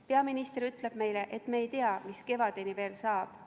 Peaminister ütleb meile, et me ei tea, mis kevadeks saab.